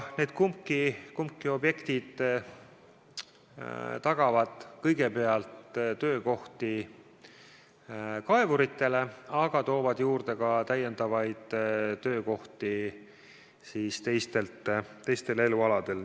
Need mõlemad objektid tagavad kõigepealt töökohti kaevuritele, aga toovad juurde ka lisatöökohti teistel elualadel.